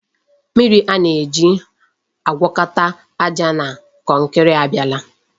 Mmiri a na-eji agwọkọta aja na kọnkri abịala.